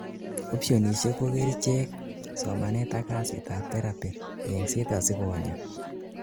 optionisiek ko kerichek, somanet ak kasit ab therapy, yengset asikonyaa